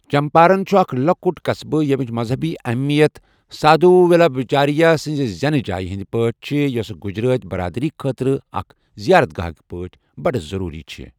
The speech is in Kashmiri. چمپارن چھُ اکھ لۄکُٹ قصبہٕ یَمٕچ مذہبی اَہمِیَت سادو ولابھچاریہ سنٛز زیٚنہٕ جایہِ ہنٛد پٲٹھۍ چھِ یوٚس گجراتی برادٔری خٲطرٕ اکھ زیارت گاہٕک پٲٹھۍ بڑٕ ضروٗری چھُ۔